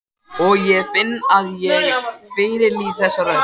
Og ég finn að ég fyrirlít þessa rödd.